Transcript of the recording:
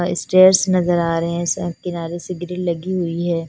Stairs नजर आ रहे है किनारे से भी ग्रिल लगी हुई है।